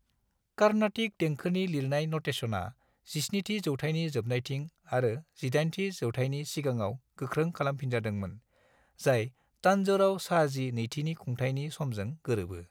कार्नाटिक देंखोनि लिरनाय नटेसना 17थि जौथाइनि जोबनायथिं आरो 18थि जौथाइनि सिगाङाव गोख्रों खालामजाफिनदोंमोन, जाय तान्जौराव शाहजी नैथिनि खुंथायनि समजों गोरोबो।